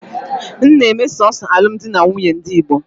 M na-eme sọọsọ alụmdi na nwunye ndị Igbo.